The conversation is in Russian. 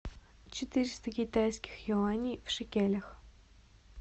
четыреста китайских юаней в шекелях